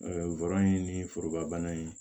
ni foroba bana in